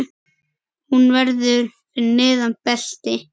Hún verður fyrir neðan belti.